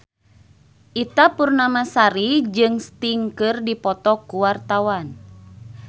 Ita Purnamasari jeung Sting keur dipoto ku wartawan